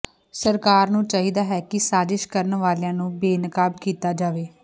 ਸਰਕਾਰ ਨੂੰ ਚਾਹੀਦਾ ਹੈ ਕਿ ਸਾਜਿਸ਼ ਕਰਨ ਵਾਲਿਆਂ ਨੂੰ ਬੇਨਕਾਬ ਕੀਤਾ ਜਾਵੇ